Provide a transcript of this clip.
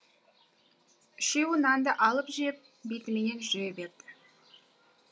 үшеуі нанды алып жеп бетіменен жүре береді